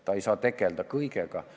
Ta ei saa tegeleda kõigega.